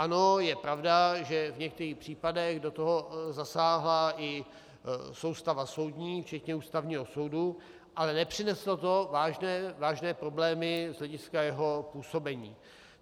Ano, je pravda, že v některých případech do toho zasáhla i soustava soudní, včetně Ústavního soudu, ale nepřineslo to vážné problémy z hlediska jeho působení.